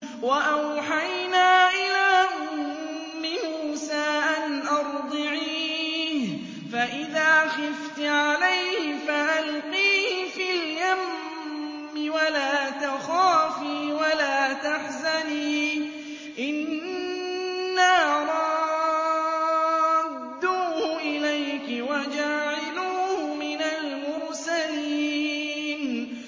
وَأَوْحَيْنَا إِلَىٰ أُمِّ مُوسَىٰ أَنْ أَرْضِعِيهِ ۖ فَإِذَا خِفْتِ عَلَيْهِ فَأَلْقِيهِ فِي الْيَمِّ وَلَا تَخَافِي وَلَا تَحْزَنِي ۖ إِنَّا رَادُّوهُ إِلَيْكِ وَجَاعِلُوهُ مِنَ الْمُرْسَلِينَ